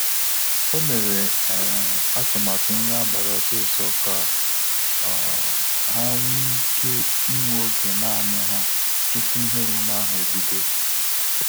O mere um atụmatụ nri abalị osiso ka um ha nweike inwe oge nanị ha tupu ihe omume ahụ ebido